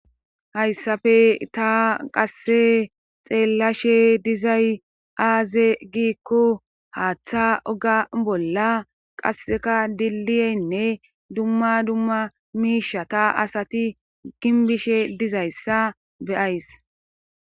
hayssafe ta qasse xeellashe dizay aaze giikko haaththa oga bolla qasseka diliyenne dumma dumma miisha ta asati ginbishe dizayssa beyays